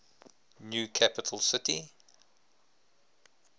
new capital city